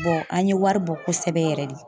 an ye wari bɔ kosɛbɛ yɛrɛ de.